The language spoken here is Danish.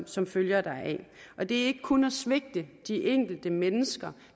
som følger deraf det er ikke kun at svigte de enkelte mennesker